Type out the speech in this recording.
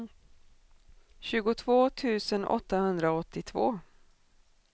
tjugotvå tusen åttahundraåttiotvå